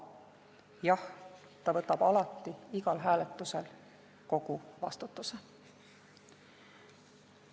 Jah, ta võtab alati igal hääletusel kogu vastutuse.